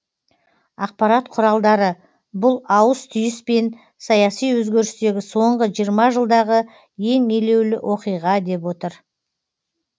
ақпарат құралдары бұл ауыс түйіс пен саяси өзгерістегі соңғы жиырма жылдағы ең елеулі оқиға деп отыр